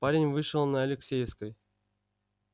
парень вышел на алексеевской